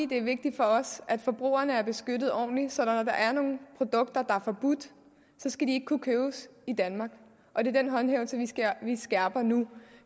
det er vigtigt for os at forbrugerne er beskyttet ordentligt så når der er nogle produkter der er forbudt skal de ikke kunne købes i danmark og det er den håndhævelse vi skærper nu